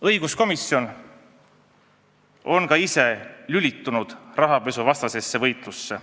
Õiguskomisjon on ka ise lülitunud rahapesuvastasesse võitlusse.